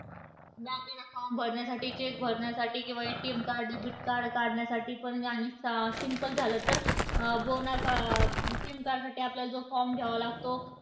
ते form भरण्यासाठी, check भरण्यासाठी किंवा ATM card, Debit card काढण्यासाठीपण आणि सा simple झालं तर, बोनाफा SIM card साठी आपल्याला जो form घ्यावा लागतो,